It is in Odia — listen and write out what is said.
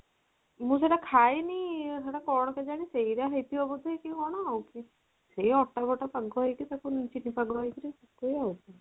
ମୁଁ ସେଇଟା ଖାଇନି ସେଇଟା କଣ କେଜାଣି ସେଇ ରା ହେଇଥିବା ବୋଧେ କି କଣ ଆଉ ସେଇ ଅଟା ଫଟା ପାଗ ହେଇକିରି ତାକୁ ଚିନି ପାଗ ହେଇକି ସେଇଆ ଆଉ